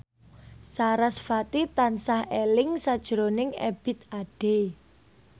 sarasvati tansah eling sakjroning Ebith Ade